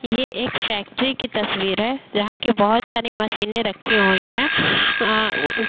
ये एक फैक्ट्री की तस्वीर है जहाँ की बहुत सारी मशीने रखी हुई हैं। अ --